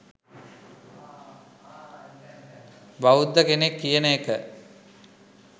බෞද්ධ කෙනෙක් කියන එක